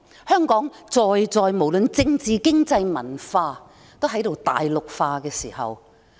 香港在政治、經濟、文化方面都在大陸化。